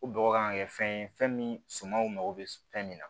Ko bɔgɔ kan ka kɛ fɛn ye fɛn min sumanw mago bɛ fɛn min na